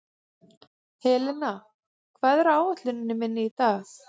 Helena, hvað er á áætluninni minni í dag?